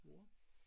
Hvor?